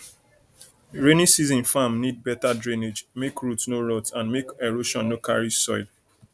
rainy season farm need better drainage make root no rot and make erosion no carry soil